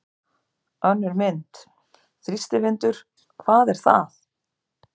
Önnur mynd: Þrýstivindur- hvað er það?